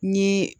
N ye